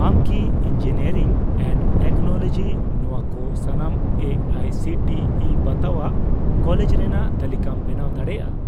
ᱟᱢ ᱠᱤ engineering and technology ᱱᱚᱣᱟ ᱠᱚ ᱥᱟᱱᱟᱢ A I C T E ᱵᱟᱛᱟᱣᱟᱜ ᱠᱚᱞᱮᱡᱽ ᱨᱮᱱᱟᱜ ᱛᱟᱞᱤᱠᱟᱢ ᱵᱮᱱᱟᱣ ᱫᱟᱲᱮᱭᱟᱜᱼᱟ ᱾